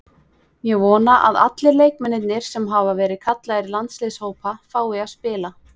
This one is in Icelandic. Ég vona að allir leikmennirnir sem hafa verið kallaðir í landsliðshópa fái að spila.